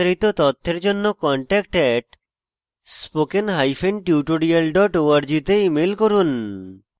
বিস্তারিত তথ্যের জন্য contact @spokentutorial org তে ইমেল করুন